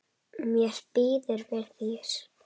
Mér býður við þér.